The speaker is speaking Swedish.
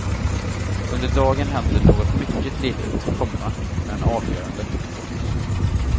Under dagen händer något mycket litet, komma men avgörande. punkt